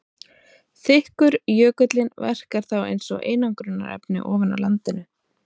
Þykkur jökullinn verkar þá eins og einangrunarefni ofan á landinu.